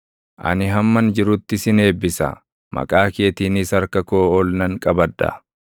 Ani hamman jirutti sin eebbisa; maqaa keetiinis harka koo ol nan qabadha.